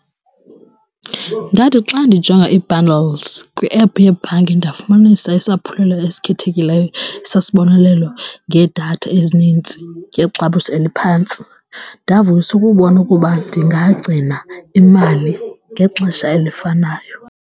Ndathi xa ndijonga ii-bundles kwi-app yebhanki ndafumanisa isaphulelo esikhethekileyo sisibonelelo ngedatha ezinintsi ngexabiso eliphantsi, ndavuyiswa kubona ukuba ndingagcina imali ngexesha elifanayo.